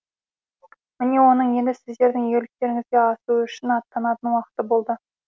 міне оның енді сіздердің игіліктеріңізге асу үшін аттанатын уақыты болды